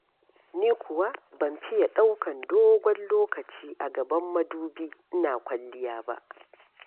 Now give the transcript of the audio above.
Ni kuwa ban fiye ɗaukar dogon lokaci a gaban madubi ina kwalliya ba.